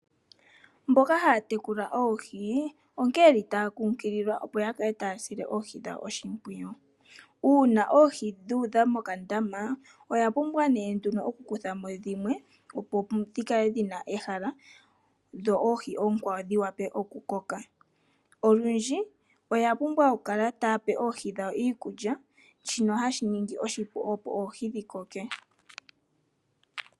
Mboka haya tekula oohi onkene ye li taya kunkililwa opo ya kale ta ya sile oohi dhawo oshimpwiyu. Uuna oohi dhu udha mokandama oya pumbwa nee nduno oku kutha mo dhimwe opo mu kale mu na ehala dho oohi oonkwawo dhi wa pe oku koka. Olundji oya pumbwa oku kala ta ya pe oohi dhawo iikulya shino ha shi ningi oshipu opo oohi dhi koke.